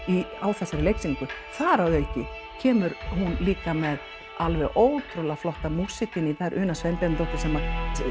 á þessari leiksýningu þar að auki kemur hún líka með alveg ótrúlega flotta músík inn í þetta það er Una Sveinbjarnardóttir sem